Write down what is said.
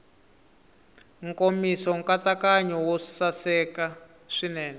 nkomiso nkatsakanyo wo saseka swinene